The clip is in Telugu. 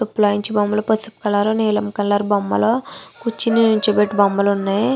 బొమ్మలు పసుపు కలర్ నీలం కలర్ బొమ్మలు కూర్చొని నుంచోపెట్టి బొమ్మలు ఉన్నాయి.